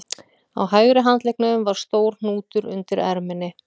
Á hægri handleggnum var stór hnútur undir erminni